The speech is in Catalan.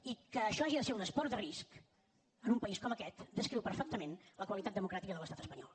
i que això hagi de ser un esport de risc en un país com aquest descriu perfectament la qualitat democràtica de l’estat espanyol